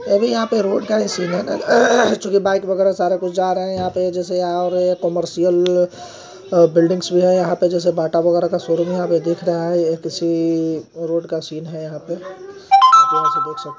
अरे यहाँ पे रोड का सीन है जो कि बाइक वगैरा सारा कुछ जा रहा है यहां पे जैसे यहाँ और कमर्शियल बिल्डिंग्स भी है यहां पे जैसे बाटा वगैरह का शोरूम यहां पे दिख रहा है यह किसी रोड का सीन है यहाँ पे यहां पे ऐसे देख सक--